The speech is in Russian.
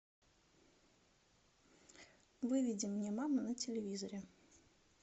выведи мне мама на телевизоре